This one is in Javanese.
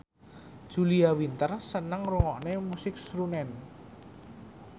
Julia Winter seneng ngrungokne musik srunen